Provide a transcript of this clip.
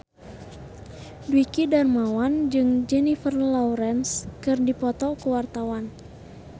Dwiki Darmawan jeung Jennifer Lawrence keur dipoto ku wartawan